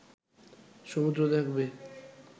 সমুদ্র দেখবে